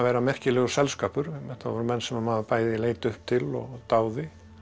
merkilegur þetta voru menn sem maður bæði leit upp til og dáði